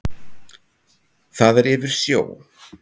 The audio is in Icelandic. Það er yfir sjó.